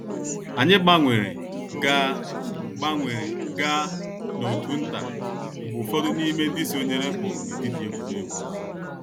Anyị gbanwere gaa gbanwere gaa n’òtù nta mgbe ụfọdụ n’ime ndị sonyere pụrụ n’etiti egwuregwu.